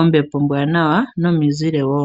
ombepo ombwaanawa nomizile wo.